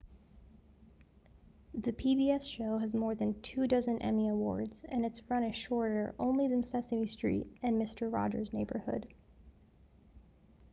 the pbs show has more than two-dozen emmy awards and its run is shorter only than sesame street and mister rogers' neighborhood